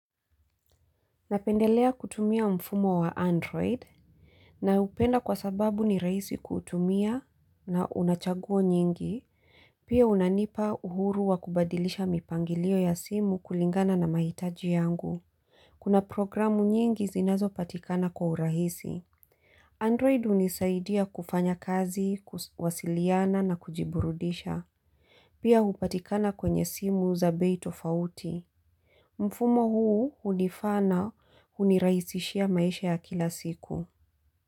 Napendelea kutumia mfumo wa android. Na upenda kwa sababu ni rahisi kutumia na unachaguo nyingi. Pia unanipa uhuru wa kubadilisha mipangilio ya simu kulingana na mahitaji yangu. Kuna programu nyingi zinazo patikana kwa urahisi. Android hunisaidia kufanya kazi, kuwasiliana na kujiburudisha. Pia hupatikana kwenye simu za bei tofauti. Mfumo huu hunifaa na hunirahisishia maisha ya kila siku.